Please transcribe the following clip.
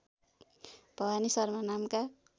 भवानी शर्मा नामका